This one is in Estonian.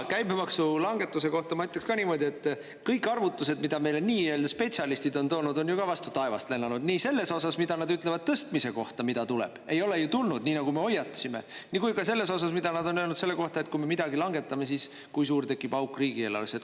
Käibemaksulangetuse kohta ma ütleks niimoodi, et kõik arvutused, mida meile nii-öelda spetsialistid on toonud, on ju ka vastu taevast lennanud, nii selles osas, mida nad ütlevad tõstmise kohta, mida tuleb – ei ole ju tulnud, nii nagu me hoiatasime –, kui ka selles osas, mida nad on öelnud selle kohta, et kui me midagi langetame, kui suur tekib auk riigieelarvesse.